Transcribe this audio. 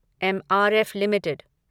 MRF limited